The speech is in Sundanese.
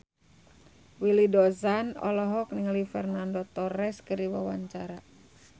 Willy Dozan olohok ningali Fernando Torres keur diwawancara